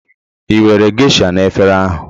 Ị were Geisha na efere ahụ?